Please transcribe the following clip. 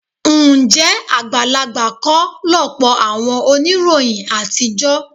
Ǹjẹ́ àgbàlagbà kọ́ lọ̀pọ̀ àwọn oníròyìn àtijọ́?